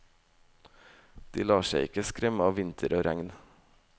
De lar seg ikke skremme av vinter og regn.